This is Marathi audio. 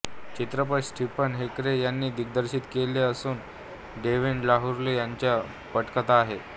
चित्रपट स्टीफन हेरेक यांनी दिग्दर्शित केला असून डेव्हिड लूघरी यांची पटकथा आहे